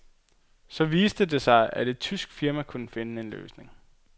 Så viste det sig, at et tysk firma kunne finde en løsning.